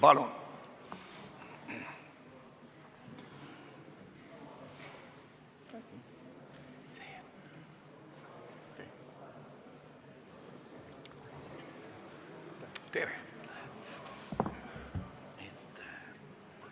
Palun!